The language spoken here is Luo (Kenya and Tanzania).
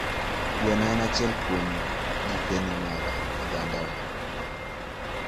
Gweno en achiel kuom gikeni mag ogandawa.